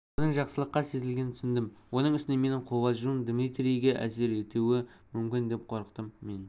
оның жақсылыққа сезілгенін түсіндім оның үстіне менің қобалжуым дмитрийге әсер етеуі мүмкін деп қорықтым мен